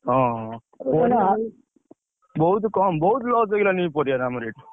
ହଁ ହଁ, ବହୁତ୍ କମ୍ ବହୁତ୍ loss ହେଇଗଲାଣି ଏଇ ପରିବାରେ ଆମର ଏଠି।